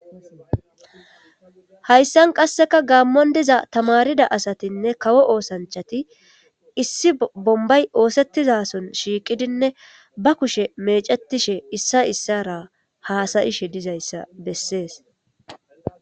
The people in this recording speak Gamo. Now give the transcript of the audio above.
hayssan qasseka gaammon diza tamarida asatinne kawo oosanchati issi bombay oosettizason shiiqidinne ba kushe mecetishe issa issara haasayishe dizayssa bessees